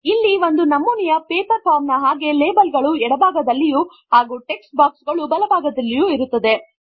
ಇಲ್ಲಿ ಒಂದು ನಮೂನೆಯ ಪೇಪರ್ ಫಾರ್ಮ್ ನ ಹಾಗೆ ಲೇಬಲ್ ಗಳು ಎಡ ಭಾಗದಲ್ಲಿಯೂ ಹಾಗು ಟೆಕ್ಸ್ಟ್ ಬಾಕ್ಸ್ ಗಳು ಬಲ ಭಾಗದಲ್ಲಿಯೂ ಇರುತ್ತದೆ